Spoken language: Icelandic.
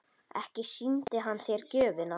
Ekki sýndi hann þér gjöfina?